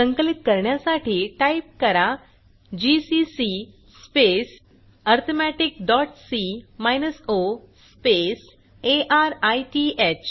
संकलित करण्यासाठी टाईप करा GCC space arithmetic dot C minus O space अरिथ